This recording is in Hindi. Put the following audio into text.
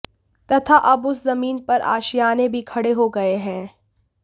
तथा अब उस जमीन पर आशियाने भी खड़े हो गये हैं